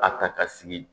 A ta ka sigi